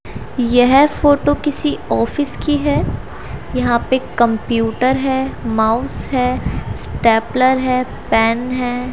यह फोटो किसी ऑफिस की है यहां पे कंप्यूटर है माउस है स्टेपलर है पेन हैं।